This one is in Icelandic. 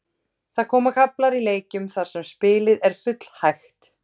Það koma kaflar í leikjum þar sem spilið er full hægt.